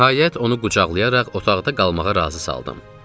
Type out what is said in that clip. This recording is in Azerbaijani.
Nəhayət onu qucaqlayaraq otaqda qalmağa razı saldım.